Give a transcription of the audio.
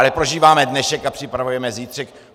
Ale prožíváme dnešek a připravujeme zítřek.